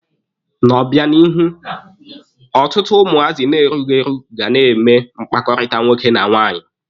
N'obịanihu, ọtụtụ ụmụazị na-erughi eru ga na-eme mkpakọrịta nwoke na nwaanyị.